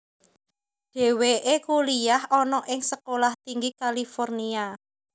Dheweke kuliyah ana ing Sekolah Tinggi California